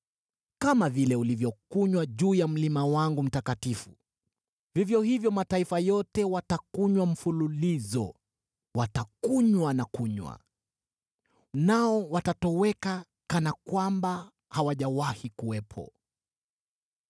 Kama vile ulivyokunywa juu ya mlima wangu mtakatifu, vivyo hivyo mataifa yote watakunywa mfululizo, watakunywa na kunywa, nao watatoweka kana kwamba hawajawahi kuwepo.